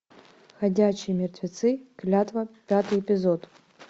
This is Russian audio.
ходячие мертвецы клятва пятый эпизод